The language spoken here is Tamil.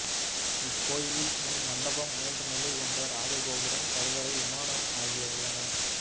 இக்கோயிலில் முன் மண்டபம் மூன்று நிலை கொண்ட ராஜகோபுரம் கருவறை விமானம் ஆகியவை உள்ளன